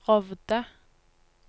Rovde